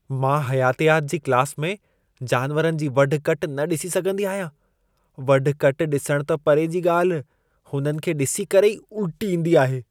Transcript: मां हयातियात जी क्लास में जानवरनि जी वढु-कट न ॾिसी सघंदी आहियां। वढु-कट ॾिसण त परे जी ॻाल्हि, उन्हनि खे ॾिसी करे ई उल्टी ईंदी आहे।